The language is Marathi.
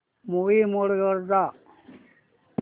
मूवी मोड वर जा